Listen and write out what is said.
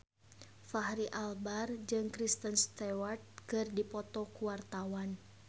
Fachri Albar jeung Kristen Stewart keur dipoto ku wartawan